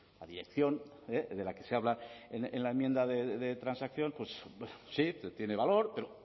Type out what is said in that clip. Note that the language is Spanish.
la dirección de la que se habla en la enmienda de transacción sí tiene valor pero